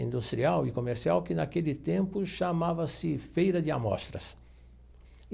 industrial e comercial, que naquele tempo chamava-se Feira de Amostras.